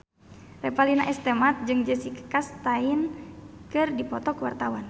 Revalina S. Temat jeung Jessica Chastain keur dipoto ku wartawan